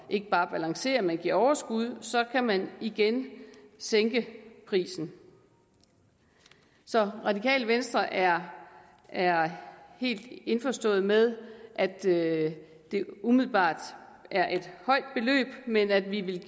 ikke bare at balancere men give overskud så kan man igen sænke prisen så radikale venstre er er helt indforstået med at det det umiddelbart er et højt beløb men at vi vil